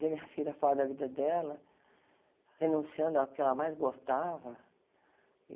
Ver minha filha fora da vida dela, renunciando ao que ela mais gostava.